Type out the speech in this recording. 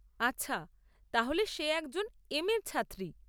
আচ্ছা, তাহলে সে একজন এম এর ছাত্রী।